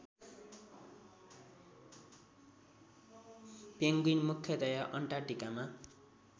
Penguin मुख्यतया अन्टार्कटिकामा